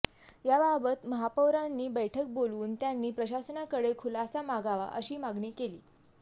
याबाबत महापौरांनी बैठक बोलवून त्यांनी प्रशासनाकडे खुलासा मागावा अशी मागणी केली